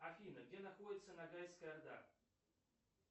афина где находится нагайская орда